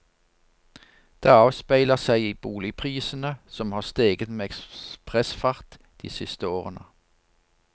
Det avspeiler seg i boligprisene, som har steget med ekspressfart de siste årene.